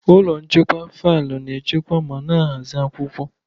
Ụlọ nchekwa faịlụ na-echekwa ma na-ahazi akwụkwọ.